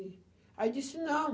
E... aí disse, não.